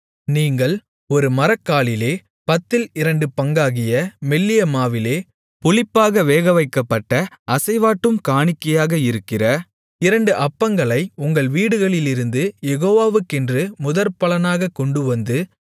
நீங்கள் ஒரு மரக்காலிலே பத்தில் இரண்டு பங்காகிய மெல்லிய மாவிலே புளிப்பாக வேகவைக்கப்பட்ட அசைவாட்டும் காணிக்கையாக இருக்கிற இரண்டு அப்பங்களை உங்கள் வீடுகளிலிருந்து யேகோவாக்கென்று முதற்பலனாகக் கொண்டுவந்து